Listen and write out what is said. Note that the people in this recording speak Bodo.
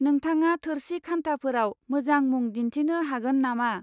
नोंथाङा थोरसि खान्थाफोराव मोजां मुं दिन्थिनो हागोन नामा?